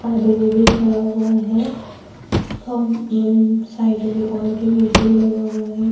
آدھوبھی کھڈا ہوا ہے، اورسائیڈ مے اور بھی مشین لگا ہوا ہے-